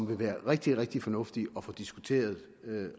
vil være rigtig rigtig fornuftigt at få diskuteret